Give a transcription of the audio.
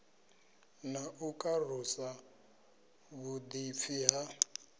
na u karusa vhuḓipfi ha